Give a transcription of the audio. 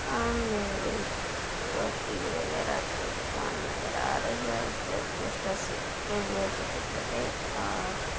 सामने एक कॉपी वगेरा की दुकान नज़र आ रही है उसपे पोस्टर्स से चिपके हुए हैं छोटे-छोटे और --